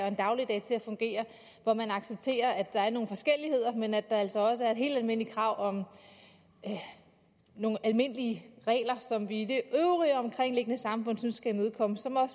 en dagligdag til at fungere hvor man accepterer at der er nogle forskelligheder men at der altså også er nogle helt almindelige krav og nogle almindelige regler som vi i det øvrige omkringliggende samfund synes skal imødekommes og